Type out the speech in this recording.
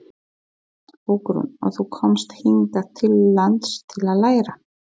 Hugrún: Og þú komst hingað til lands til að læra?